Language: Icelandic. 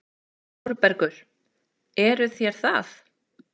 ÞÓRBERGUR: Eruð þér það?